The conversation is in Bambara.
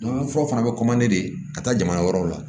fura fana bɛ de ka taa jama wɛrɛw la